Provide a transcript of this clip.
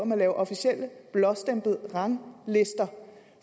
man laver officielle blåstemplede ranglister